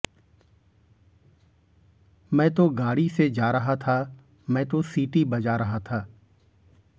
मैं तो गाड़ी से जा रहा था मैं तो सीटी बजा रहा था